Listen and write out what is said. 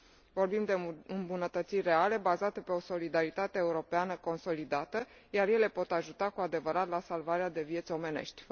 Vorbim de îmbunătățiri reale, bazate pe o solidaritate europeană consolidată, iar ele pot ajuta cu adevărat la salvarea de vieți omenești.